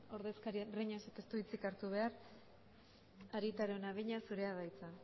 ordezkaria breñasek ez du hitzik hartu behar arieta araunabeña zurea da hitza